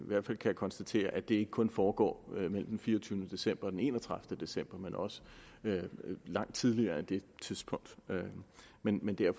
hvert fald konstatere at det ikke kun foregår mellem den fireogtyvende december og den enogtredivete december men også langt tidligere men men det er